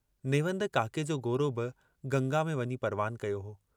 नेवंद काके जो गोरो बि गंगा में वञी परवान कयो हो।